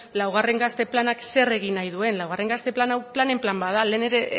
laugarren gazte planak zer egin nahi duen laugarren gazte plan hau planen plan bat da lehen ere